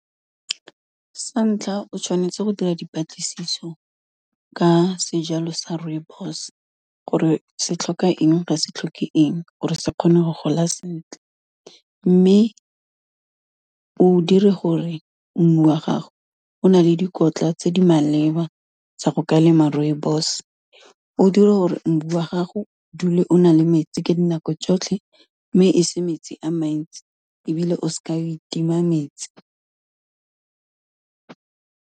Sa ntlha o tshwanetse go dira dipatlisiso ka sejalo sa rooibos, gore se tlhoka eng ga sa tlhoke eng gore se kgone go gola sentle, mme o dire gore mmu wa gago o na le dikotla tse di maleba tsa go ka lema rooibos, o dire gore mmu wa gago o dule o na le metsi ka dinako tsotlhe, mme e se metsi a mantsi ebile o seke wa itima metsi.